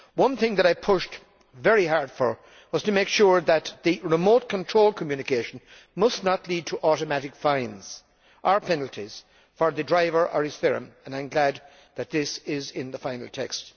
One thing I pushed very hard for was to make sure that the remote control communication must not lead to automatic fines or penalties for the driver or his firm, and I am glad that this is in the final text.